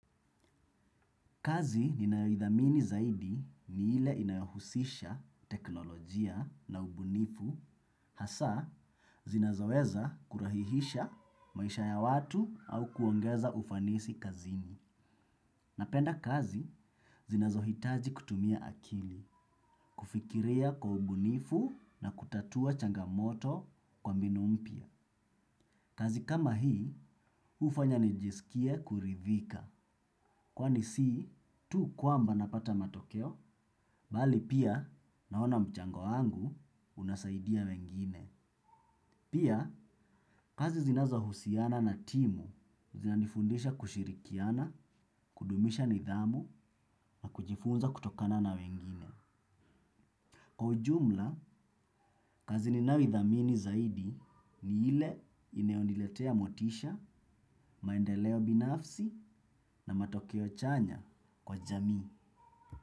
Kazi ninayoithamini zaidi ni ile inayohusisha teknolojia na ubunifu hasa zinazoweza kurahihisha maisha ya watu au kuongeza ufanisi kazini. Napenda kazi zinazohitaji kutumia akili, kufikiria kwa ubunifu na kutatua changamoto kwa mbinu mpya. Kazi kama hii, hufanya nijisikie kuridhika. Kwani si, tu kwamba napata matokeo, bali pia naona mchango wangu unasaidia wengine. Pia, kazi zinazohusiana na timu, zinanifundisha kushirikiana, kudumisha nidhamu na kujifunza kutokana na wengine. Kwa ujumla, kazi ninayoithamini zaidi ni ile inayoniletea motisha, maendeleo binafsi na matokeo chanya kwa jamii.